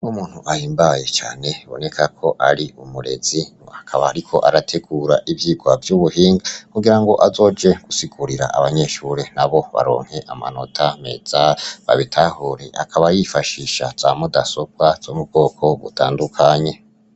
Umuntu ahimbaye cane bibonekako ari umurezi akaba ariko arategura ivyirwa vy'ubuhinga ,kugira ngo azoje gusigurira abanyeshure nabo baronke amanota meza ,babitahure. Akaba yifashisha za mudasobwa zo m'ubwoko butandukanye.